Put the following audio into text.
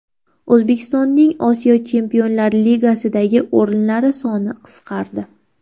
O‘zbekistonning Osiyo Chempionlar Ligasidagi o‘rinlari soni qisqardi.